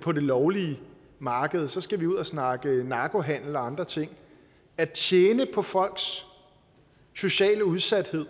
på det lovlige marked så skal vi ud at snakke narkohandel og andre ting at tjene på folks sociale udsathed